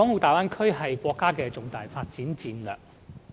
大灣區是國家的重大發展戰略。